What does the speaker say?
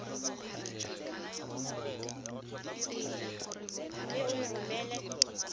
c mme o e romele